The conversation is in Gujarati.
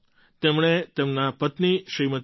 તેમણે તેમનાં પત્ની શ્રીમતી ટી